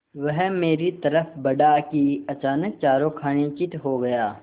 वह मेरी तरफ़ बढ़ा कि अचानक चारों खाने चित्त हो गया